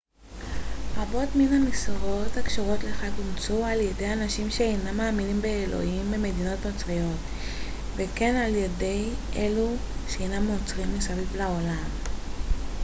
רבות מן המסורות הקשורות לחג אומצו על ידי אנשים שאינם מאמינים באלוהים במדינות נוצריות וכן על ידי אלו שאינם נוצרים מסביב לעולם